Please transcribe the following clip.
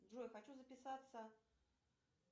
джой хочу записаться